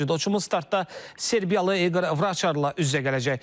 Cüdoçumuz startda Serbiyalı İqor Vraçarla üz-üzə gələcək.